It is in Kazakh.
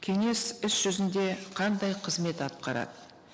кеңес іс жүзінде қандай қызмет атқарады